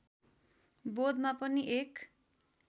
बोधमा पनि एक